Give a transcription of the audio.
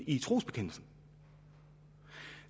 i trosbekendelsen